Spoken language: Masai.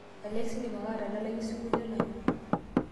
alexa indim ake atadalayu osinkolio lanyor